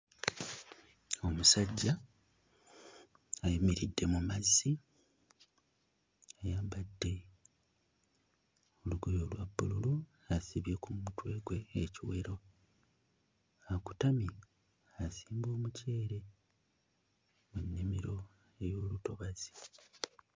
Omusajja ayimiridde mu mazzi ayambadde lugoye olwa bbululu asibye ku mutwe gwe ekiwero, akutamye asimba omuceere mu nnimiro ey'omu ntobazi